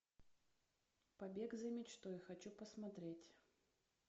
побег за мечтой хочу посмотреть